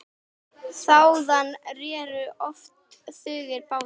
Þaðan réru oft tugir báta.